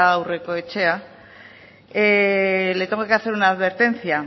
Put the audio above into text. aurrekoetxea le tengo que hacer una advertencia